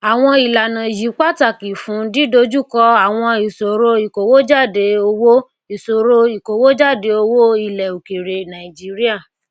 akínfẹnwá sọ pé feda fẹ darapọ mọ àjọ iléiṣẹ agbára shanghai china gẹgẹ bí olùdókòwò geregu